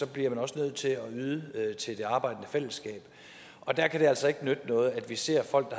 bliver man også nødt til at yde til det arbejdende fællesskab og der kan det altså ikke nytte noget at vi ser folk